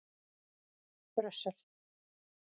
Brussel